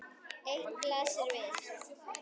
Eitt blasir við.